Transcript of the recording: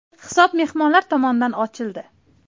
Hisob mehmonlar tomonidan ochildi.